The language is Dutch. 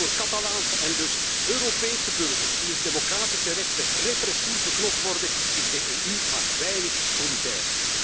Maar voor Catalaanse en dus Europese burgers, wier democratische rechten repressief beknot worden, is de EU maar weinig solidair.